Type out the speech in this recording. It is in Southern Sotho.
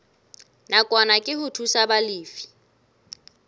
nakwana ke ho thusa balefi